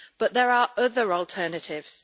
But there are other alternatives.